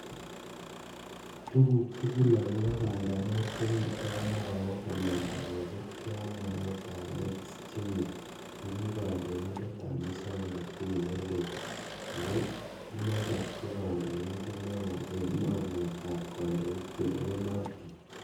Tuguk tugul agobo pang'anet kowirto noo kamanda kosiibege ak mwaetab Erick Schmidt nekikondoindet ab musoknotet ne leel ak ko inendet ko kandoindet newo en mornetab kondoik che lewenotin.